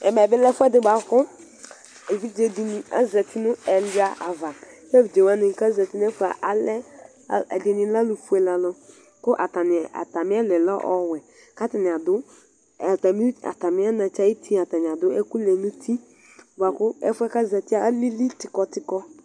ɛmɛ bilɛ ɛfɛdi ku evidze dini azati nu ɛwuiava ke evidzewani ku azati ɛɖini lɛ ɔvɛ nu ɔwɛ ku atàmi ɛlu lɛ ɔwɛ, atàmi anatsɛ aɖu ɛkuli, ɛfuɛ ke zati alili tikɔtikɔ